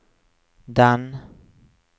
den